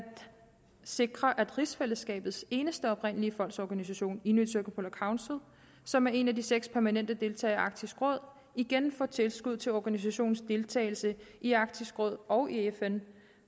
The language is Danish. sikre at rigsfællesskabets eneste oprindelige folks organisation inuit circumpolar council som er en af de seks permanente deltagere i arktisk råd igen får tilskud til organisationens deltagelse i arktisk råd og i fn